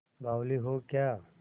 बावली हो क्या